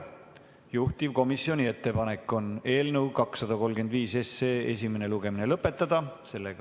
Juhtivkomisjoni ettepanek on eelnõu 235 esimene lugemine lõpetada.